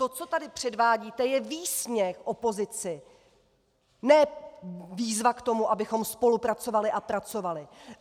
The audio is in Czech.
To, co tady předvádíte, je výsměch opozici, ne výzva k tomu, abychom spolupracovali a pracovali!